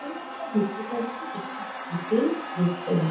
এখানে আমরা দেখতে পাচ্ছি একটি হোটেল রেস্তোরা।